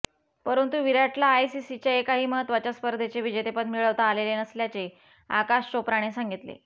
परंतू विराटला आयसीसीच्या एकाही महत्वाच्या स्पर्धेचे विजेतेपद मिळवता आलेले नसल्याचे आकाश चोप्राने सांगितले